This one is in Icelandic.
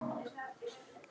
Hvað sem pabbi sagði.